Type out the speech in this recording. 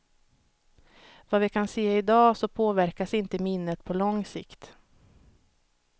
Vad vi kan se i dag så påverkas inte minnet på lång sikt.